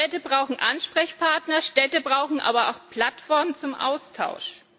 Städte brauchen Ansprechpartner, Städte brauchen aber auch Plattformen zum Austausch.